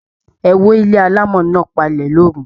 E wó ilé alamo náà palẹ lóru.